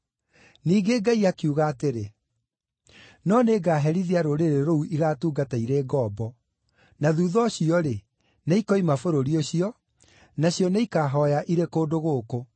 Ningĩ Ngai akiuga atĩrĩ, ‘No nĩngaherithia rũrĩrĩ rũu igaatungata irĩ ngombo; na thuutha ũcio-rĩ, nĩikoima bũrũri ũcio, nacio nĩikaahooya irĩ kũndũ gũkũ.’